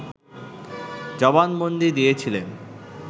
জবানবন্দী দিয়েছিলেন